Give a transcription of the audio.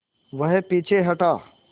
वह पीछे हटा